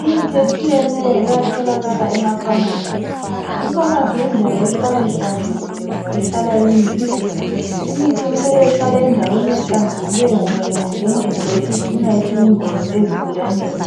Imithi etshiyeneyo iyatholakala emafamasi, ifamasi yindawo ehlala inhlanzekile ngoba ihlala imithi. Imithi kumele ihlale endaweni ehlanzekileyo ngoba ingangena idoti icina isiyingozi esigulaneni.